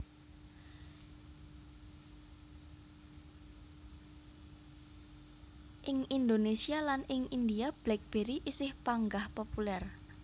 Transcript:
Ing Indonésia lan ing India BlackBerry isih panggah populèr